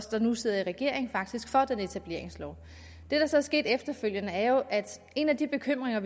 der nu sidder i regering faktisk for den etableringslov det der så er sket efterfølgende er jo at en af de bekymringer